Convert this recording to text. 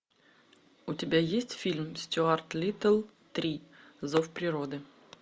у тебя есть фильм стюарт литтл три зов природы